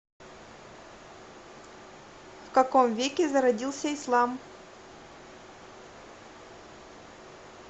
в каком веке зародился ислам